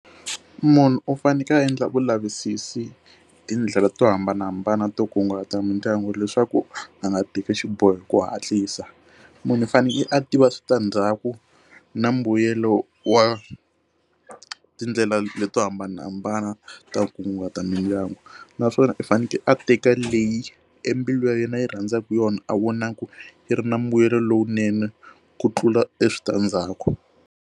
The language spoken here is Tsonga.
Munhu u fanekele a endla vulavisisi tindlela to hambanahambana to kunguhata mindyangu leswaku a nga teki xiboho hi ku hatlisa munhu u fanele a tiva switandzhaku na mbuyelo wa tindlela leti to hambanahambana ta nkunguhata mindyangu naswona i fanekele a teka leyi embilu ya yena yi rhandzaka yona a vonaka yi ri na mbuyelo lowunene ku tlula eswitandzhaku.